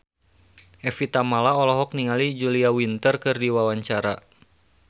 Evie Tamala olohok ningali Julia Winter keur diwawancara